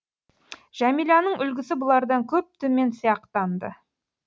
жәмиланың үлгісі бұлардан көп төмен сияқтанды